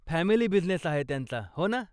Family business आहे त्यांचा, हो ना?